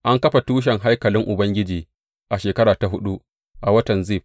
An kafa tushen haikalin Ubangiji a shekara ta huɗu, a watan Zif.